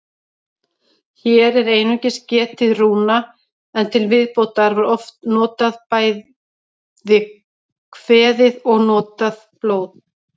Hér er einungis getið rúna, en til viðbótar var oft bæði kveðið og notað blóð.